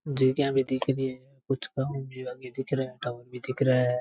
भी दिख री है कुछ टाउन भी आगे दिख रहा है टाउन भी दिख रा है।